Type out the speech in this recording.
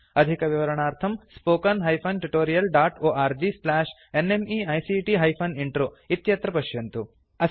अधिकविवरणार्थं spoken hyphen tutorial dot org slash NMEICT hyphen intro इत्यत्र पश्यन्तु